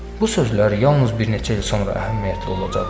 Bu sözlər yalnız bir neçə il sonra əhəmiyyətli olacaqdı.